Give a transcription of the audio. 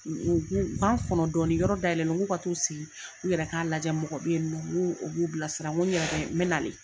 ka n kɔnɔ dɔni yɔrɔ da yɛlɛlen k'u ka t'u sigi u yɛrɛ k'a lajɛ mɔgɔ be yen nɔ mun b'u bila sira nko n yɛrɛ bɛ n bɛ nale